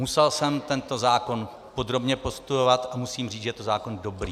Musel jsem tento zákon podrobně prostudovat a musím říct, že to je zákon dobrý.